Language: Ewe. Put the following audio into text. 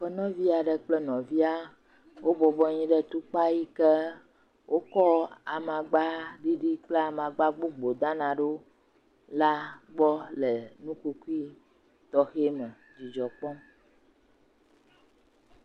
Aƒenɔvi aɖe kle nɔvia wobɔbɔnɔ anyi ɖe tukpa yi ke wokɔ amagba ɖiɖi kple amagba gbogbo dana ɖo la motoki tɔxɛ aɖe dzidzɔkpɔm.